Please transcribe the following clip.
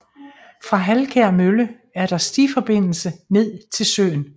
Fra Halkær Mølle er der stiforbindelse ned til søen